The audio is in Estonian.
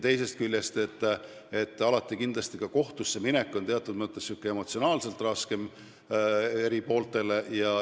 Teisest küljest on kohtusse minek eri pooltele alati kindlasti emotsionaalselt raskem.